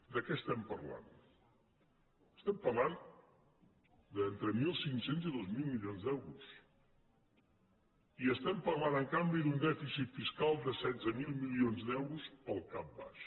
de què estem parlant estem parlant d’entre mil cinc cents i dos mil milions d’euros i estem parlant en canvi d’un dèficit fiscal de setze mil milions d’euros pel cap baix